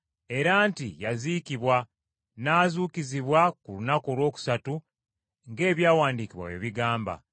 era nti yaziikibwa, n’azuukizibwa ku lunaku olwokusatu ng’Ebyawandiikibwa bwe bigamba,